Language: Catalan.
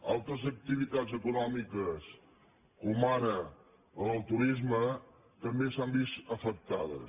altres activitats econòmiques com ara el turisme també s’han vist afectades